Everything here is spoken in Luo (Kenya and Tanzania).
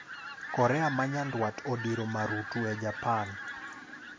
Korea ma nyandwat odiro marutu e Japan